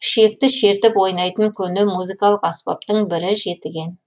ішекті шертіп ойнайтын көне музыкалық аспаптың бірі жетіген